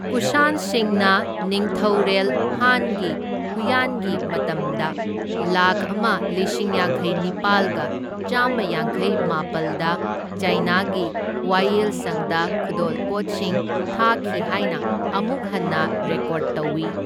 ꯀꯨꯁꯥꯟꯁꯤꯡꯅ ꯅꯤꯡꯊꯧꯔꯦꯜ ꯍꯥꯟꯒꯤ ꯍꯨꯌꯥꯟꯒꯤ ꯃꯇꯝꯗ ꯂꯥꯛꯈ ꯑꯃ ꯂꯤꯁꯤꯡ ꯌꯥꯡꯈꯩꯅꯤꯄꯥꯜꯒ ꯆꯥꯝꯃ ꯌꯥꯡꯈꯩꯃꯥꯄꯜꯗ ꯆꯥꯏꯅꯥꯒꯤ ꯋꯥꯌꯦꯜꯁꯪꯗ ꯈꯨꯗꯣꯜꯄꯣꯠꯁꯤꯡ ꯊꯥꯈꯤ ꯍꯥꯏꯅ ꯑꯃꯨꯛ ꯍꯟꯅ ꯔꯦꯀꯣꯔꯗ ꯇꯧꯏ꯫